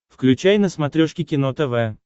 включай на смотрешке кино тв